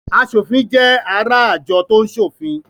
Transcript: Aṣòfin jẹ́ ará àjọ tó ń ṣòfin.